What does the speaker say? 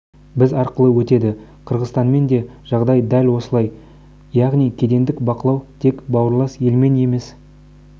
біз арқылы өтеді қырғызстанмен де жағдай дәл осындай яғни кедендік бақылау тек бауырлас елмен емес